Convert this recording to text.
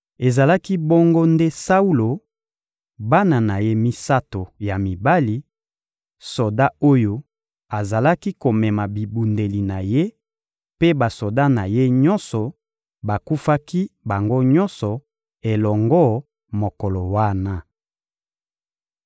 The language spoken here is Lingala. Ezalaki bongo nde Saulo, bana na ye misato ya mibali, soda oyo azalaki komema bibundeli na ye mpe basoda na ye nyonso bakufaki bango nyonso elongo mokolo wana.